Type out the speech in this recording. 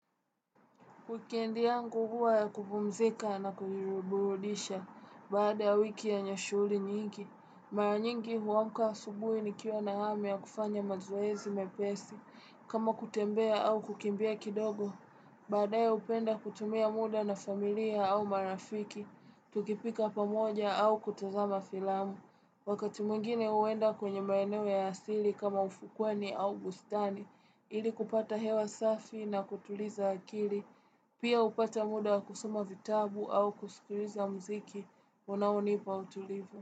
Wikendi yangu huwa ya kupumzika na kujiruburudisha, baada ya wiki yenye shuhuli nyingi, mara nyingi huamka asubui nikiwa na ham ya kufanya mazoezi mepesi, kama kutembea au kukimbia kidogo, baadaye upenda kutumia muda na familia au marafiki, tukipika pamoja au kutazama filamu. Wakati mwingine uenda kwenye maeneo ya asili kama ufukweni au bustani, ili kupata hewa safi na kutuliza akili, pia upata muda kusuma vitabu au kusikuliza mziki, unaonipa utulivu.